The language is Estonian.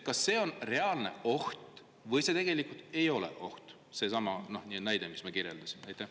Kas see on reaalne oht või see tegelikult ei ole oht – seesama näide, mis ma kirjeldasin?